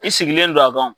I sigilen don a kɔnɔ